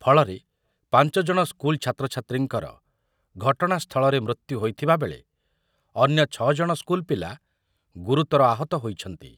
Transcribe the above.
ଫଳରେ ପାଞ୍ଚ ଜଣ ସ୍କୁଲ୍‌ ଛାତ୍ରଛାତ୍ରୀଙ୍କର ଘଟଣାସ୍ତଳରେ ମୃତ୍ୟୁ ହୋଇଥିବାବେଳେ ଅନ୍ୟ ଛ ଜଣ ସ୍କୁଲ୍‌ପିଲା ଗୁରୁତର ଆହତ ହୋଇଛନ୍ତି